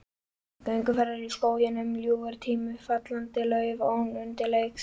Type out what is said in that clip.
Gerðar, Hjálmar Bárðarson, tekið að ljósmynda verk hennar.